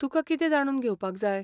तुका कितें जाणून घेवपाक जाय?